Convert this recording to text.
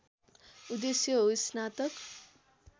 उद्देश्य हो स्नातक